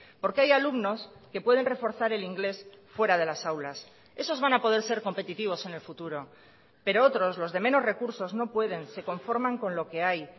porque hay alumnos que pueden reforzar el inglés fuera de las aulas esos van a poder ser competitivos en el futuro pero otros los de menos recursos no pueden se conforman con lo que hay